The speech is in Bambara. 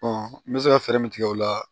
n bɛ se ka fɛɛrɛ min tigɛ o la